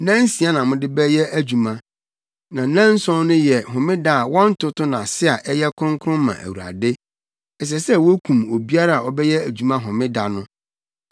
Nnansia na mode bɛyɛ adwuma. Na nnanson so no yɛ Homeda a wɔntoto no ase a ɛyɛ kronkron ma Awurade. Ɛsɛ sɛ wokum obiara a ɔbɛyɛ adwuma Homeda no.